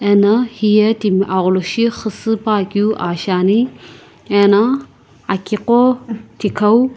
ena hiye timi agholoshi xusü puakeu aa shiani ena akiqo thikau.